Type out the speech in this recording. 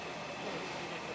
Bu niyə belədir?